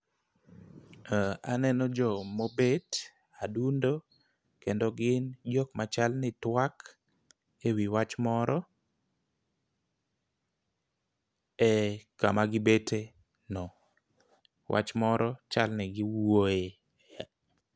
Aneno jomo bet aduondo kendo gin jok machal ni twak ewi wach moro. E kama gibete no, wach moro chal ni giwuoye